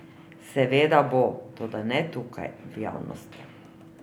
Seveda bo, toda ne tukaj, v javnosti.